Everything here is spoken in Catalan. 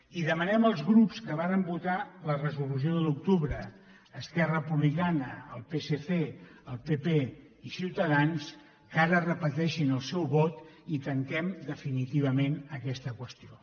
i demanem als grups que varen votar la resolució de l’octubre esquerra republicana el psc el pp i ciutadans que ara repeteixin el seu vot i tanquem definitivament aquesta qüestió